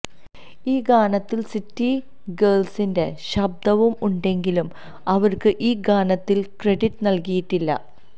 ഈ ഗാനത്തിൽ സിറ്റി ഗേൾസിന്റെ ശബ്ദവും ഉണ്ടെങ്കിലും അവർക്ക് ഈ ഗാനത്തിൽ ക്രഡിറ്റ് നൽകിയിട്ടില്ല